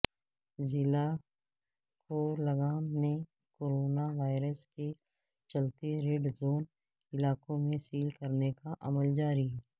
ضلع کولگام میں کوروناوائرس کے چلتے ریڈ زون علاقوں کو سیل کرنے کا عمل جاری